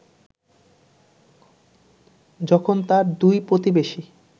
যখন তার দুই প্রতিবেশী